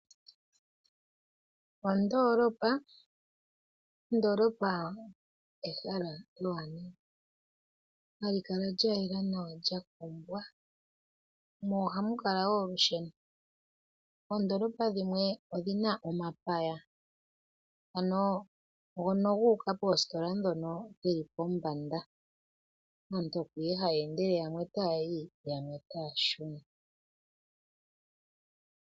Ondolopa, ondolopa ehala ewanawa, hali kala lya yela nawa, lya kombwa, mo ohamu kala wo olusheno. Oondolopa dhimwe odhina omapaya, ano ngoka guuka poostola dhoka dhili pombanda. Aantu oko nduno haya endele yamwe ota yayi, yamwe, yamwe otaya shuna.